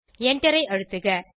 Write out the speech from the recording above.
enter ஐ அழுத்துக